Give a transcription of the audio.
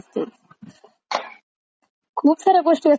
खूप साऱ्या गोष्टी असतात नाही, आपल्या डिस्कशन वरून कळालं आपल्याला?